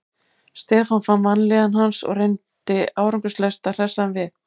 Stefán fann vanlíðan hans og reyndi árangurslaust að hressa hann við.